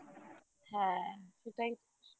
হ্যাঁ সেটাই তো